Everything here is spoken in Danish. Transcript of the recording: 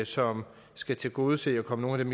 som skal tilgodese og komme